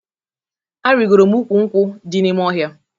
Arigoro m ukwu nkwụ dị n'ime ọhịa